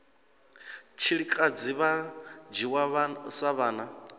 tshilikadzi vha dzhiwa sa vhana